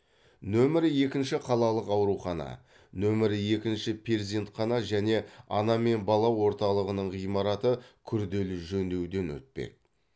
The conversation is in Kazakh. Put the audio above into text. нөмірі екінші қалалық аурухана нөмірі екінші перзентхана және ана мен бала орталығының ғимараты күрделі жөндеуден өтпек